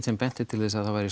sem benti til þess að það væri